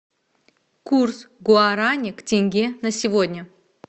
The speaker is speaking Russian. курс гуарани к тенге на сегодня